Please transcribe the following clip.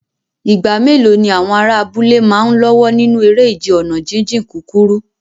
Ìgbà mélòó ni àwọn ará abúlé máa ń lọ́wọ́ nínú eré ìje ọ̀nà jíjìn kúkúrú?